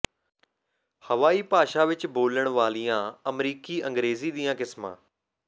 ਹਵਾਈ ਭਾਸ਼ਾ ਵਿੱਚ ਬੋਲਣ ਵਾਲੀਆਂ ਅਮਰੀਕੀ ਅੰਗਰੇਜ਼ੀ ਦੀਆਂ ਕਿਸਮਾਂ